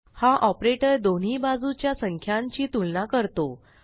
हा ऑपरेटर दोन्ही बाजूच्या संख्यांची तुलना करतो